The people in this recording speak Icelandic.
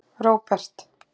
Róbert